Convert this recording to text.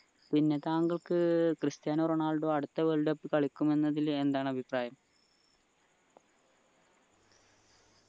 പിന്നെ താങ്കൾക്ക് Cristiano Ronaldo അടുത്ത world cup കളിക്കും എന്നതിൽ എന്താണ് അഭിപ്രായം